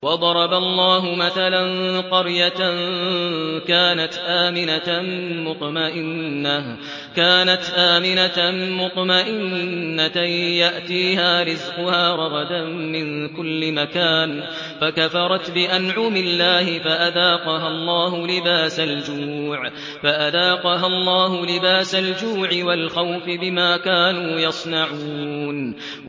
وَضَرَبَ اللَّهُ مَثَلًا قَرْيَةً كَانَتْ آمِنَةً مُّطْمَئِنَّةً يَأْتِيهَا رِزْقُهَا رَغَدًا مِّن كُلِّ مَكَانٍ فَكَفَرَتْ بِأَنْعُمِ اللَّهِ فَأَذَاقَهَا اللَّهُ لِبَاسَ الْجُوعِ وَالْخَوْفِ بِمَا كَانُوا يَصْنَعُونَ